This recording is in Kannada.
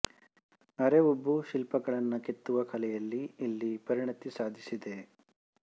ಅರೆ ಉಬ್ಬು ಶಿಲ್ಪಗಳನ್ನು ಕೆತ್ತುವ ಕಲೆಯಲ್ಲಿ ಇಲ್ಲಿ ಪರಿಣತಿ ಸಾಧಿಸಿದೆ